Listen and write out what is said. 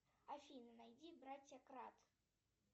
афина найди братья кратт